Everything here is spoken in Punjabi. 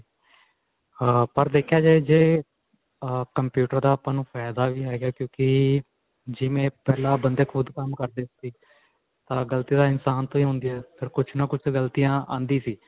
ਅਅ ਪਰ ਦੇਖਿਆ ਜਾਏ ਜੇ ਅਅ computer ਦਾ ਆਪਾਂ ਨੂੰ ਫ਼ਾਈਦਾ ਵੀ ਹੈਗਾ ਕਿਉਂਕਿ ਜਿਵੇਂ ਪਿਹਲਾਂ ਬੰਦੇ ਖੁੱਦ ਕੰਮ ਕਰਦੇ ਸੀ. ਅਅ ਗਲਤੀ ਤਾਂ ਇਨਸਾਨ ਤੋਂ ਹੀ ਹੁੰਦੀ ਹੈ ਪਰ ਕੁੱਝ ਨਾ ਕੁੱਝ ਆਉਂਦੀ ਸੀ.